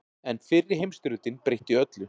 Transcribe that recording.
En fyrri heimsstyrjöldin breytti öllu.